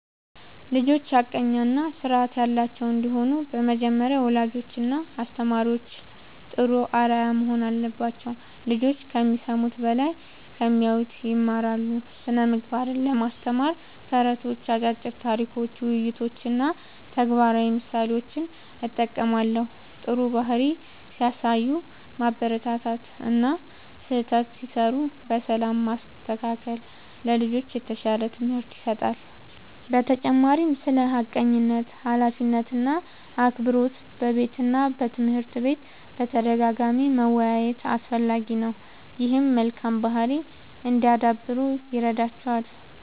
ልጆች ሐቀኛ እና ስርዓት ያላቸው እንዲሆኑ በመጀመሪያ ወላጆችና አስተማሪዎች ጥሩ አርአያ መሆን አለባቸው። ልጆች ከሚሰሙት በላይ ከሚያዩት ይማራሉ። ስነ ምግባርን ለማስተማር ተረቶች፣ አጫጭር ታሪኮች፣ ውይይቶች እና ተግባራዊ ምሳሌዎችን እጠቀማለሁ። ጥሩ ባህሪ ሲያሳዩ ማበረታታት እና ስህተት ሲሠሩ በሰላም ማስተካከል ለልጆች የተሻለ ትምህርት ይሰጣል። በተጨማሪም ስለ ሐቀኝነት፣ ኃላፊነት እና አክብሮት በቤትና በትምህርት ቤት በተደጋጋሚ መወያየት አስፈላጊ ነው። ይህም መልካም ባህሪ እንዲያዳብሩ ይረዳቸዋል።